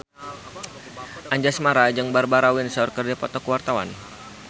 Anjasmara jeung Barbara Windsor keur dipoto ku wartawan